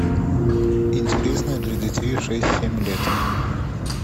интересное для детей шесть семь лет